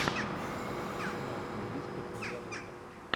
арсенал английская премьер лига